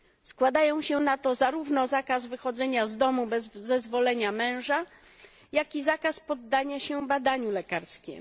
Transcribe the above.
Składają się na to zarówno zakaz wychodzenia z domu bez zezwolenia męża, jak i zakaz poddania się badaniu lekarskiemu.